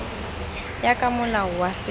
ya ka molao wa setso